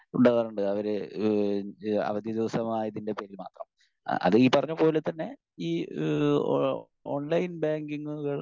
Speaker 1 ഉണ്ടാകാറുണ്ട്. അവര് ഏഹ് അവധി ദിവസമായതിന്റെ പേരിൽ മാത്രം. അത് ഈ പറഞ്ഞ പോലെ തന്നെ ഈ ഓ ഓൺലൈൻ ബാങ്കിംഗുകൾ